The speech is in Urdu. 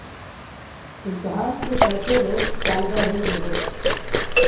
امتحان کے چو تھے رو ز طالبہ ہوئی بیہوش